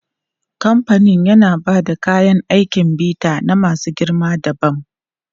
Kamfanin yana ba da kayan aikin bita na masu girma dabam.